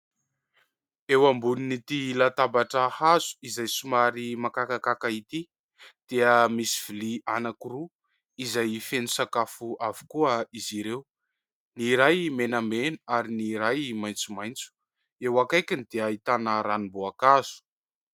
Eo ambonin'ity latabatra hazo izay somary makakakaka ity dia misy vilia anankiroa izay feno sakafo avokoa izy ireo, ny iray menamena ary ny iray maitsomaitso. Eo akaikiny dia ahitana ranom-boankazo.